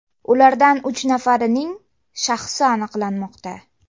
Ulardan uch nafarining shaxsi aniqlanmoqda.